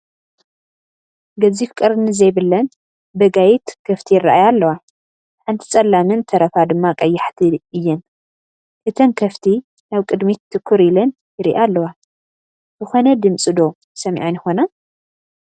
ገዚፍ ቀርኒ ዘይብለን ብጋይት ከፍቲ ይረአያ ኣለዋ፡፡ ሓንቲ ፀላምን ተረፋ ድማ ቀያሕቲ ድማ እየን፡፡ እተን ከፍቲ ናብ ቅድሚት ትኩር ኢለን ይሪኣ ኣለዋ፡፡ ዝኾነ ድምፂ ዶ ሰሚዐን ይኾና?